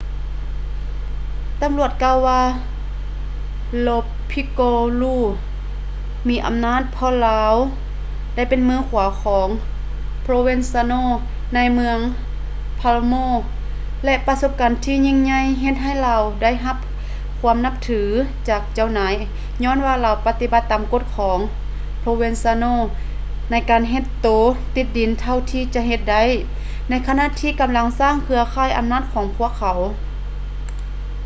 ຕຳຫຼວດກ່າວວ່າ lo piccolo ມີອຳນາດເພາະວ່າລາວໄດ້ເປັນມືຂວາຂອງ provenzano ໃນເມືອງ palermo ແລະ ປະສົບການທີ່ຍິ່ງໃຫຍ່ເຮັດໃຫ້ລາວໄດ້ຮັບຄວາມນັບຖືຈາກເຈົ້ານາຍຍ້ອນວ່າລາວປະຕິບັດຕາມກົດຂອງ provenzano ໃນການເຮັດໂຕຕິດດິນເທົ່າທີ່ຈະເຮັດໄດ້ໃນຂະນະທີ່ກຳລັງສ້າງເຄືອຂ່າຍອຳນາດຂອງພວກເຂົາ